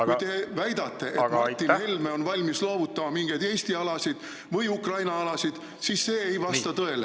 Kui teie väidate, et Helme on valmis loovutama mingeid Eesti alasid või Ukraina alasid, siis see ei vasta tõele.